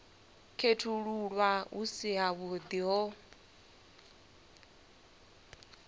khethululwa hu si havhuḓi ho